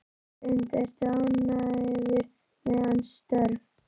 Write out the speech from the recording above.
Hrund: Ertu ánægður með hans störf?